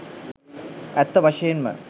ඇත්ත වශයෙන්ම